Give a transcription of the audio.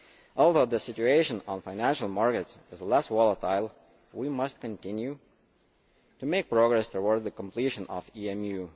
Although the situation of financial markets is less volatile, we must continue to make progress towards the completion of EMU.